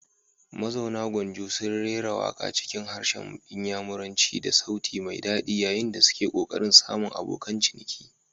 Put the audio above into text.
Mazauna gwanjo sun rera waka cikin harshen Inyamuranci da sauti mai dadi yayin da suke kokarin samun abokan ciniki.